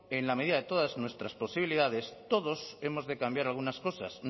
en la medida de todas nuestras posibilidades todos hemos de cambiar algunas cosas